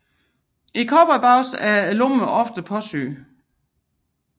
I cowboybukser er lommerne ofte påsyet